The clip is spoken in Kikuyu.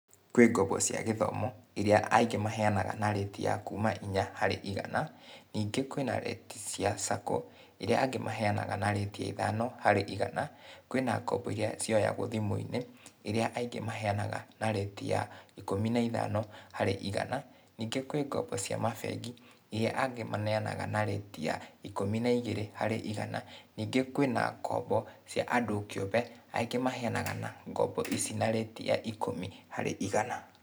Kwĩ ngombo cia gĩthomo, iria aingĩ maheanaga na rĩti ya kuma inya harĩ igana, ningĩ kwĩna rĩti cia sacco , iria angĩ maheanaga na rĩti ya ithano harĩ igana, kwĩna na ngombo iria cioyagũo thimũ-inĩ, ĩria aingĩ maheanaga na rĩti ya ikũmi na ithano harĩ igana, ningĩ kwĩ ngombo cia mabengi, iria angĩ maneanaga na rĩti ya ikũmi na igĩrĩ harĩ igana, ningĩ kwĩna ngombo cia andũ kĩũmbe, aingĩ maheanaga na, ngombo ici na rĩti ya ikũmi harĩ igana.